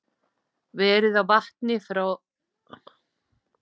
Verð á vatni frá Hitaveitu Reykjavíkur